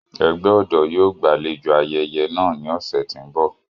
Ẹgbẹ ọdọ yóò gbalejo ayẹyẹ naa ni ọsẹ ti n bọ.